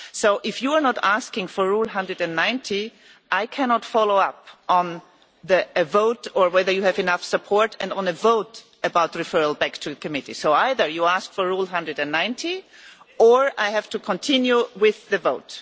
So if you are not asking for Rule 190, I cannot follow up on a vote or whether you have enough support on a vote about referral back to committee, so either you ask for Rule 190 or I have to continue with the vote.